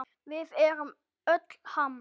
Við erum öll Ham!